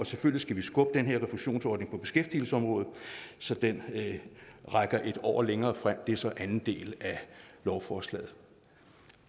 selvfølgelig skubbe den her refusionsordning på beskæftigelsesområdet så den rækker en år længere frem det er så den anden del af lovforslaget